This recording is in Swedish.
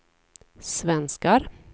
svenskar